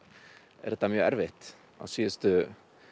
er það mjög erfitt á síðustu